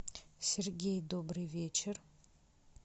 сергей добрый вечер